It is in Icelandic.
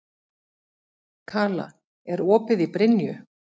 Kala, er opið í Brynju?